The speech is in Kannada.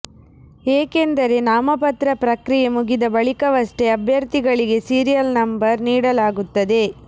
ಏಕೆಂದರೆ ನಾಮಪತ್ರ ಪ್ರಕ್ರಿಯೆ ಮುಗಿದ ಬಳಿಕವಷ್ಟೇ ಅಭ್ಯರ್ಥಿಗಳಿಗೆ ಸೀರಿಯಲ್ ನಂಬರ್ ನೀಡಲಾಗುತ್ತದೆ